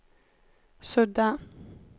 sudda